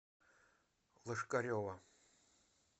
лошкарева